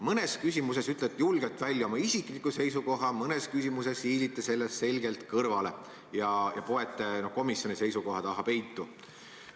Mõnes küsimuses ütlete julgelt välja oma isikliku seisukoha, mõnes küsimuses hiilite sellest selgelt kõrvale ja poete komisjoni seisukoha taha peitu.